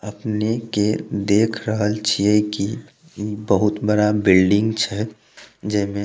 अपने के देख रहल छै की ई बहुत बड़ा बिल्डिंग छै जे में --